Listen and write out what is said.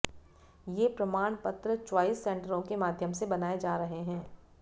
ये प्रमाण पत्र च्वाइस सेंटरों के माध्यम से बनाए जा रहे हैं